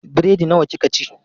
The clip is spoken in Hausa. Biredi nawa kika ci?